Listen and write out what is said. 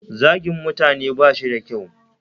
Zagin mutane bashi da kyau.